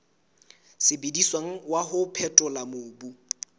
sebediswang wa ho phethola mobu